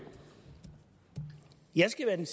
jeg gerne